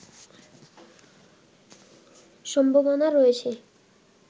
সম্ভাবনা রয়েছে